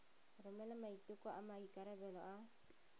romela maiteko a maikarebelo a